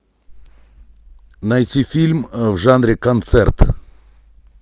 найти фильм в жанре концерт